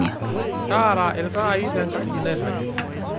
taara iltaai tenkaji nairagi